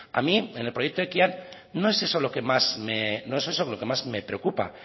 a mí en el proyecto ekian no es eso lo que más me preocupa